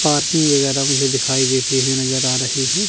Parking वगैरह मुझे दिखाई देती हुई नजर आ रही है।